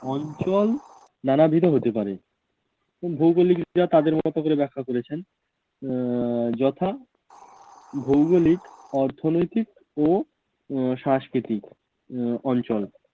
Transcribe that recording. অঞ্চল নানাবিধ হতে পারে। ভৌগলিকরা তাদের মত করে ব্যাখ্যা করেছেন, আহ যথা ভৌগলিক, অর্থনৈতিক ও উম সাংস্কৃতিক আহ অঞ্চল।